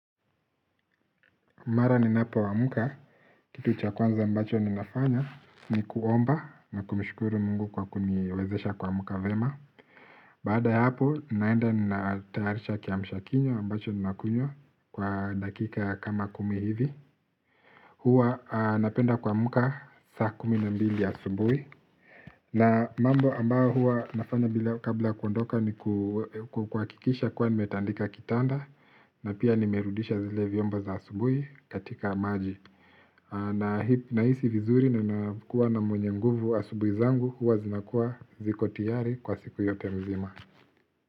Mara ninapo amka, kitu cha kwanza ambacho ninafanya ni kuomba na kumshukuru Mungu kwa kuniwezesha kuamka vema. Baada ya hapo, n aenda ninatayarisha kiamsha kinywa ambacho ninakunywa, kwa dakika kama kumi hivi. Hua napenda kuamka saa kumi na mbili asubui. Na mambo ambayo huwa nafanya bila kabla kuondoka ni kuhakikisha kuwa nimetandika kitanda. Na pia nimerudisha zile vyombo za asubui katika maji. Na hisi vizuri na nakuwa na mwenye mguvu asubui zangu huwa zinakuwa ziko tiyari kwa siku yote mzima.